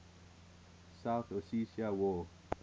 south ossetia war